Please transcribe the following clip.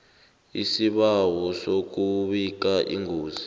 isibawo sokubika ingozi